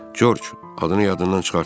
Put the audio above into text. George, adını yadından çıxartma.